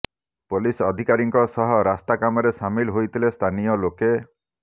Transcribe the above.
police ଅଧିକାରୀଙ୍କ ସହ ରାସ୍ତା କାମରେ ସାମିଲ ହୋଇଥିଲେ ସ୍ଥାନୀୟ ଲୋକେ